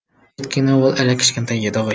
өйткені ол әлі кішкентай еді ғой